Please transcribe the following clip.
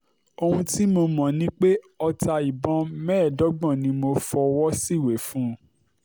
ohun tí mo mọ̀ ni pé ọta ìbọn mẹ́ẹ̀ẹ́dọ́gbọ̀n ni mo fọwọ́ síwèé fún